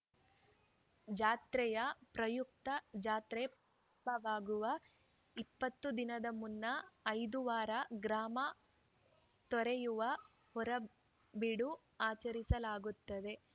ಜಾತ್ರೆಯ ಪ್ರಯುಕ್ತ ಜಾತ್ರೆ ಪ್ರಾರಂವಾಗುವ ಇಪ್ಪತ್ತು ದಿನದ ಮುನ್ನ ಐದು ವಾರ ಗ್ರಾಮ ತೊರೆಯುವ ಹೊರಬೀಡು ಆಚರಿಸಲಾಗುತ್ತದೆ